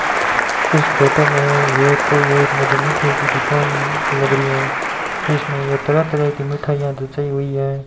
इस फोटो में ये कोई एक मुझे मिठाई की दुकान लग रही है इसमें यह तरह तरह की मिठाइयां हुई है।